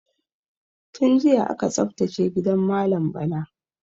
Tun jiya aka tsaftace gidan malam Bala.